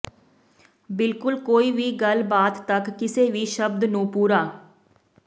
ਬਿਲਕੁਲ ਕੋਈ ਵੀ ਗੱਲਬਾਤ ਤੱਕ ਕਿਸੇ ਵੀ ਸ਼ਬਦ ਨੂੰ ਪੂਰਾ